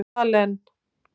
Malen